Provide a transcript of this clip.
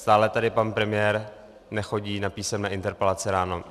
Stále tady pan premiér nechodí na písemné interpelace ráno.